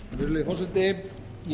virðulegi forseti ég